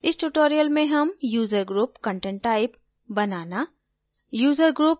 इस tutorial में हम user group content type बनाना